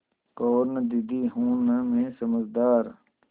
कहो न दीदी हूँ न मैं समझदार